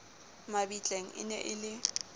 mabitleng e ne e le